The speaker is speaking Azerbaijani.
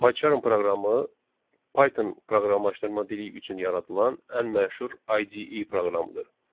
PyCharm proqramı Python proqramlaşdırma dili üçün yaradılan ən məşhur IDE proqramıdır.